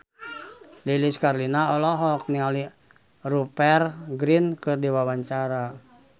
Lilis Karlina olohok ningali Rupert Grin keur diwawancara